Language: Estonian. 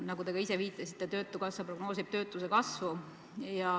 Nagu te ise viitasite, töötukassa prognoosib töötuse kasvu.